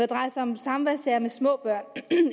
drejer sig om samværssager der vedrører små børn